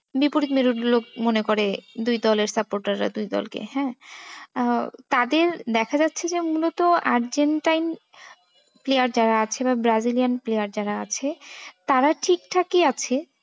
বিপরীত মেরুর লোক মনে করে। দুই দলের supporter রা দুই দলকে। হ্যাঁ, আহ তাদের দেখা যাচ্ছে যে মূলত আর্জেন্টাইন player যারা আছে রা ব্রাজিলিয়ান player যারা আছে তারা ঠিক ঠাকই আছে।